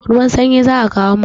Ruwan sanyi za a kawo mun.